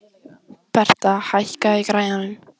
Bertha, hækkaðu í græjunum.